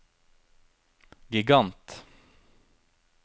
gigant